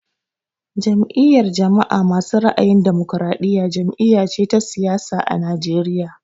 Jam'iyar jama'a masu ra'ayin damokaraɗiya jam'iya ce ta siyasa a Najeriya